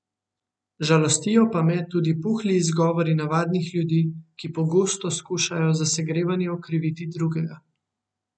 Žalostijo pa me tudi puhli izgovori navadnih ljudi, ki pogosto skušajo za segrevanje okriviti drugega.